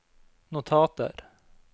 notater